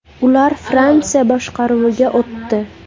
Ular Fransiya boshqaruviga o‘tdi.